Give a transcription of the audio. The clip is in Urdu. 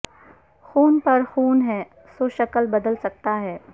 خون پھر خون ہے سو شکل بدل سکتا ہے